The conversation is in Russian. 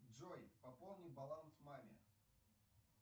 джой пополни баланс маме